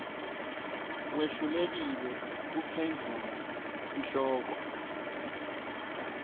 wehlulekile kuphendvula sihloko